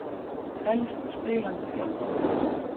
Helst spilandi þjálfara.